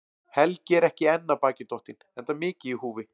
Helgi er ekki enn af baki dottinn, enda mikið í húfi.